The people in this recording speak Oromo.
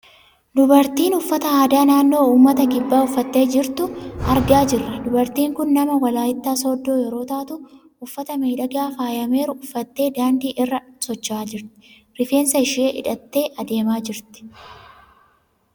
Dubartii uffata aadaa naannoo uummata kibbaa uffattee jirtu argaa jirra. Dubartiin kun nama walaayittaa Sooddoo yeroo taatu, uffata miidhagaa faayameeru uffattee daandii irra socho'aa jirti. Rifeensa ishii hidhattee adeemaa jirti.